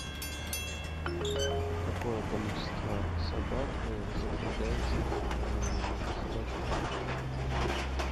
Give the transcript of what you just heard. какое количество собак запрягается в собачью упряжку